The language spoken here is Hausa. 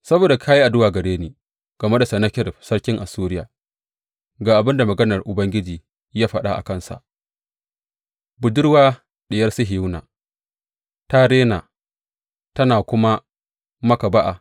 Saboda ka yi addu’a gare ni game da Sennakerib sarkin Assuriya, ga abin da maganar Ubangiji ya faɗa a kansa, Budurwa Diyar Sihiyona ta rena tana kuma maka ba’a.